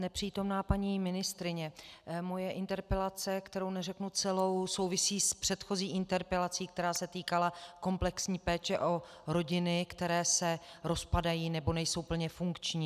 Nepřítomná paní ministryně, moje interpelace, kterou neřeknu celou, souvisí s předchozí interpelací, která se týkala komplexní péče o rodiny, které se rozpadají nebo nejsou plně funkční.